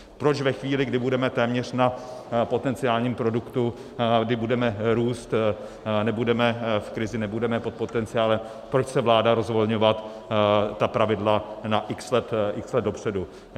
Proč ve chvíli, kdy budeme téměř na potenciálním produktu, kdy budeme růst, nebudeme v krizi, nebudeme pod potenciálem, proč chce vláda rozvolňovat ta pravidla na x let dopředu?